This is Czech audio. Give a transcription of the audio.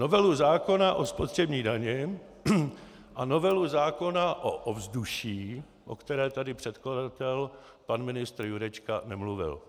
Novelu zákona o spotřební dani a novelu zákona o ovzduší, o které tady předkladatel pan ministr Jurečka nemluvil.